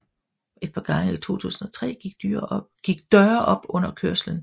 Et par gange i 2003 gik døre op under kørslen